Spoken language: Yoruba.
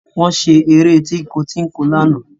Wọ́n ṣeré tínko-tínko lánàá